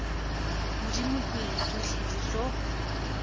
modimo pele tšohle di tlo